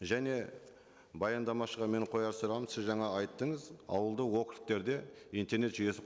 және баяндамашыға менің қояр сұрағым сіз жаңа айттыңыз аулды округтерде интернет жүйесі